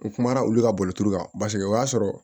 N kumana olu ka boloci kan paseke o y'a sɔrɔ